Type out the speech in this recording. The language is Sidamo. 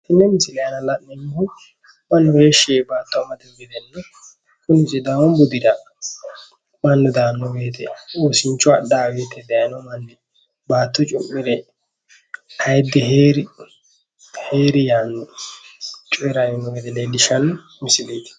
Tenne misile aana la'inihu mannu heeshshi yiino gede ikke baatto amade sidaamu budira mannu daanno woyte wosincho adhaa woyte daanno woyte baatto amade heeshshi yee Ayidde heeri heeriyaanni coyira noo gede leellishshanno misileeti.